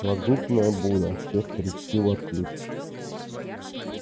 магнитная буря все старички в отключке